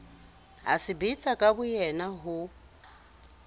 a sebetsa ka boyena ho